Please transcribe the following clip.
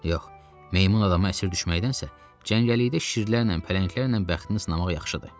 Yox, meymun adama əsir düşməkdənsə, cəngəllikdə şirlərlə, pələnglərlə bəxtini sınamaq yaxşıdır.